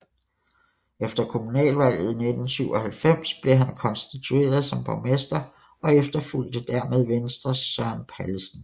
Efter kommunalvalget 1997 blev han konstitueret som borgmester og efterfulgte dermed Venstres Søren Pallesen